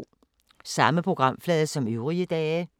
Samme programflade som øvrige dage